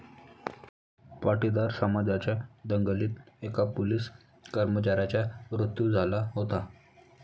पाटीदार समाजाच्या दंगलीत एका पोलीस कर्मचाऱ्याचा मृत्यू झाला होता.